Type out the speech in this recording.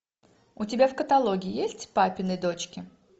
у тебя в каталоге есть папины дочки